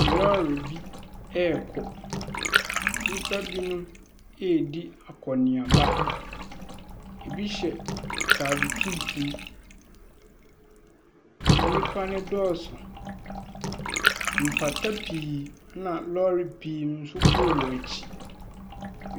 Lɔɔre bi rekɔ. Nnipa bi redi akɔneaba. Ɛbi hyɛ atade tuntum. Nnipa no dɔɔso. Mpata pii na lɔɔre pii nso woɔ akyire.